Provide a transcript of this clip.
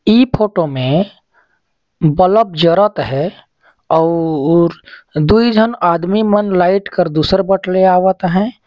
ई photo में bulb जरत है अऊ.. दुई झन आदमी मन लाइट कर दुसर बट ले आवत हैं।